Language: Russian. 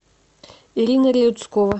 ирина реуцкова